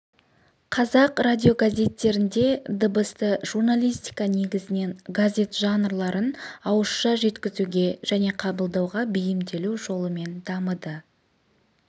қазақ радиогазеттерінде дыбысты журналистика негізінен газет жанрларын ауызша жеткізуге және қабылдауға бейімделу жолымен дамыды